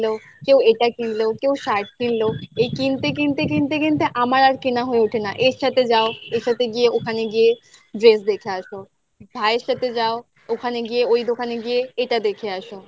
এটা কিনলেও কেউ shirt কিনলো এই কিনতে কিনতে কিনতে কিনতে আমার আর কেনা হয়ে ওঠে না এর সাথে যাও এর সাথে গিয়ে ওখানে গিয়ে dress দেখে আসো ভাই এর সাথে যাও ওখানে গিয়ে ওই দোকানে গিয়ে এটা দেখে আসো